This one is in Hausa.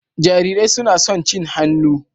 Jarirai suna son cin hannu.